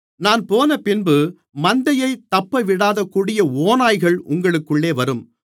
நான் போனபின்பு மந்தையைத் தப்பவிடாத கொடிய ஓநாய்கள் உங்களுக்குள்ளே வரும்